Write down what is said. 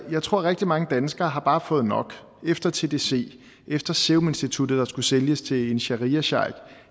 jeg tror at rigtig mange danskere bare har fået nok efter tdc efter seruminstituttet der skulle sælges til en shariasheik